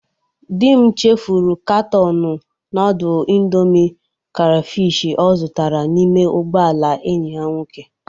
Di m chefuru katọọnụ nudul indomi karafish o zutara n'ime ụgbọala enyi ya nwoke.